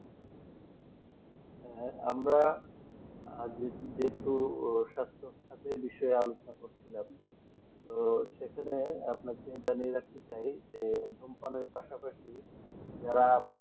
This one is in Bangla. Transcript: আর আমরা যেহেতু স্বাস্থ্য সাথী আলোচনা করছিলাম তো সেখানে আমাদের মেয়েরা কি চায় যে ধূমপানে পাশাপাশি যারা